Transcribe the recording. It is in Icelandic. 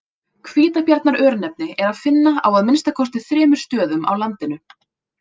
Hvítabjarnar-örnefni er að finna á að minnsta kosti þremur stöðum á landinu.